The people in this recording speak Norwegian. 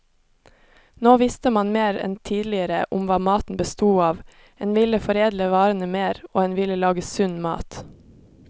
Nå visste man mer enn tidligere om hva maten bestod av, en ville foredle varene mer, og en ville lage sunn mat.